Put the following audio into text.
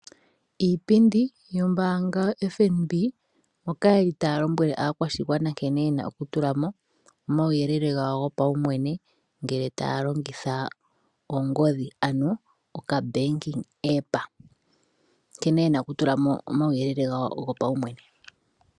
Iipindi yombaanga yoFNB moka yeli taya lombwele aakwashigwana nkene yena okutula mo omauyelele gawo gopaumwene ngele taya longitha ongodhi ano okabanking app. Nkene yena oku tulamo omauyelele gawo gopaumwene.